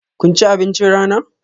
Kun ci abincin rana?